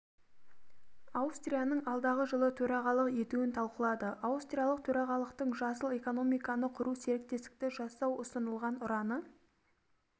аустрияның алдағы жылы төрағалық етуін талқылады аустриялық төрағалықтың жасыл экономиканы құру серіктестікті жасау ұсынылған ұраны